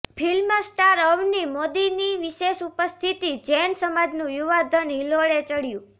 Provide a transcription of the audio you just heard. film star Avani મોદીની વિશેષ ઉપસ્થિતિ જૈન સમાજનું યુવાધન હિલોળે ચડ્યું